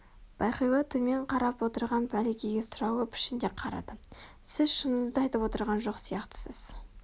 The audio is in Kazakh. бағила төмен қарап отырған мәликеге сұраулы пішінде қарады сіз шыныңызды айтып отырған жоқ сияқтысыз